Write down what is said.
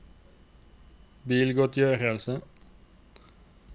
bilgodtgjørelse